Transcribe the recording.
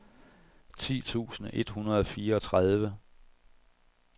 ti tusind et hundrede og fireogtredive